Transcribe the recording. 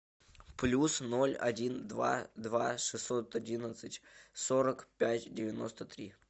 плюс ноль один два два шестьсот одиннадцать сорок пять девяносто три